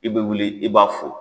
I bɛ wuli i b'a fo.